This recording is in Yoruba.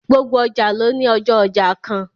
Gbogbo ọjà ló ní ọjọ́ ọjà kan